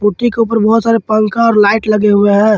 के ऊपर बहुत सारे पंखा और लाइट लगे हुए हैं।